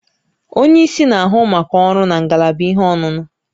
Onye isi na-ahụ maka ọrụ na ngalaba ihe ọṅụṅụ